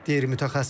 deyir mütəxəssis.